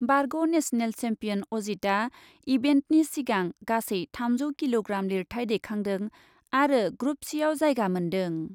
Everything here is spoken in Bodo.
बारग' नेशनेल सेम्पियन अजितआ इभेन्टनि सिगां गासै थामजौ किल'ग्राम लिरथाय दैखांदों आरो ग्रुप सिआव जायगा मोन्दों।